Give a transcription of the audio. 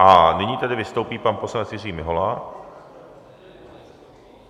A nyní tedy vystoupí pan poslanec Jiří Mihola.